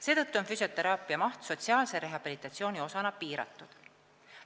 Seetõttu on füsioteraapia maht sotsiaalse rehabilitatsiooni osana piiratud.